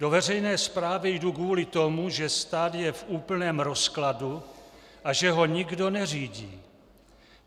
Do veřejné správy jdu kvůli tomu, že stát je v úplném rozkladu a že ho nikdo neřídí.